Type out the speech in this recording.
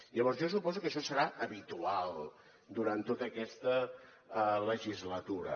llavors jo suposo que això serà habitual durant tota aquesta legislatura